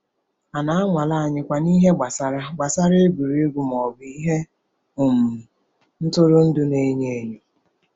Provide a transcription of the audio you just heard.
A na-anwale anyịkwa n’ihe gbasara gbasara egwuregwu ma ọ bụ ihe um ntụrụndụ na-enyo enyo?